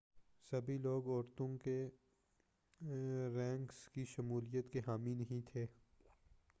سبھی لوگ عورتوں کے رینکس کی شمولیت کے حامی نہیں تھے